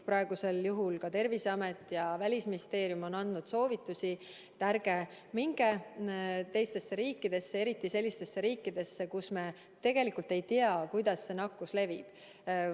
Praegusel juhul ka Terviseamet ja Välisministeerium on andnud soovitusi, et ärge minge teistesse riikidesse, eriti sellistesse riikidesse, mille puhul me tegelikult ei tea, kuidas nakkus levib.